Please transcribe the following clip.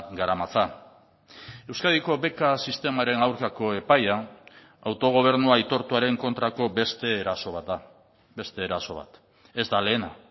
garamatza euskadiko beka sistemaren aurkako epaia autogobernu aitortuaren kontrako beste eraso bat da beste eraso bat ez da lehena